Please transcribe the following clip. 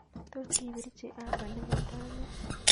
Tot ibirchi uber negoto ane